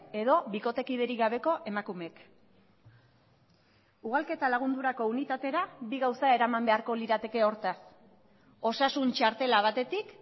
edo bikotekiderik gabeko emakumeek ugalketa lagundurako unitatera bi gauza eraman beharko lirateke hortaz osasun txartela batetik